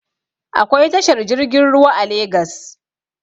Akwai tashar jirgin ruwa a legas